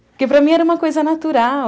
Porque, para mim, era uma coisa natural.